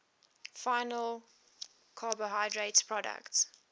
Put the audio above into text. final carbohydrate products